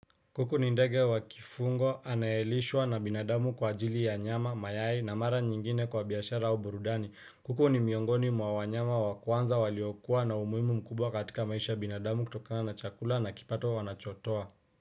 Kuku ni ndege wa kifungo anayelishwa na binadamu kwa ajili ya nyama, mayai na mara nyingine kwa biashara au burudani. Kuku ni miongoni mwa wanyama wa kwanza waliokuwa na umuimu mkubwa katika maisha binadamu kutokana chakula na kipato wanachotoa.